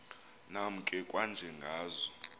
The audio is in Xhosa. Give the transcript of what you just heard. nam ke kwanjengazo